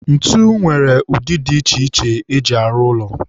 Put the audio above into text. ntu nwere ụdị dị iche iche eji arụ ụlọ